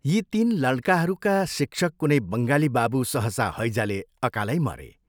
यी तीन लड्काहरूका शिक्षक कुनै बङ्गाली बाबू सहसा हैजाले अकालै मरे।